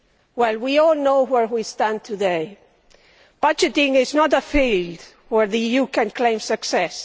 Well, we all know where we stand today. Budgeting is not a field where the EU can claim success.